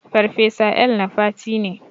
Farfesa El-nafati ne.